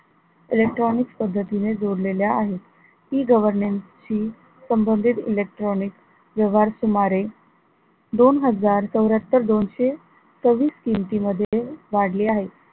electronics पद्धतीने जोडलेल्या आहे, E governance हि संबंधित electronic व्यवहार सुमारे दोन हजार चौऱ्ह्यात्तर दोनशे सव्वीस किमती मध्ये वाढले आहे.